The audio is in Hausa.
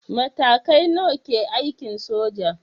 Matakai nawa ke aikin soja?